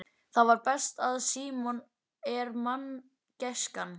Það besta við Símon er manngæskan.